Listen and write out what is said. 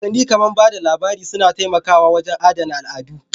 Wasanni kamar ba da labari suna taimakawa wajen adana al'adu